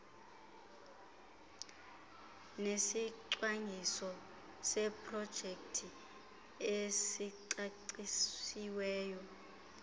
nesicwangciso seprojekthi esicacisiweyo